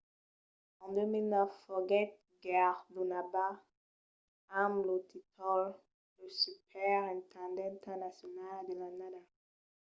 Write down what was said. en 2009 foguèt guerdonada amb lo tíitol de superintendenta nacionala de l'annada